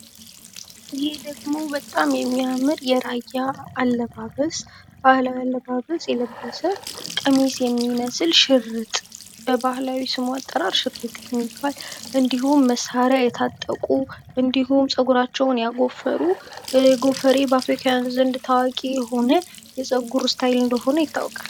ይህ ደሞ በጣም የሚያምር የራያ ባህላዊ አለባበስ የለበሰ፣ ቀሚስ የሚመስል ሽርጥ የለበሰ፣ እንዲሁም መሳሪያ የታጠቁ እንዲሁም ጸጉራቸውን ያጎፈሩ፤ ጎፈሬ በአፍሪካዊያን ዘንድ ታዋቂ የሆነ የጸጉር እስታይል እንደሆነ ይታዎቃል።